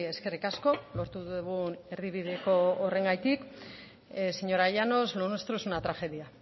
eskerrik asko lortu dugun erdibideko horrengatik señora llanos lo nuestro es una tragedia